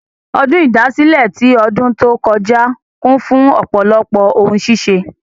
Ọdún ìdásílẹ̀ tí ọdùn tó kọ́já kún fún ọ̀pọ̀lọpọ̀ ohun ṣíṣe.